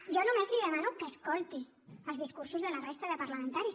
jo només li demano que escolti els discursos de la resta de parlamentaris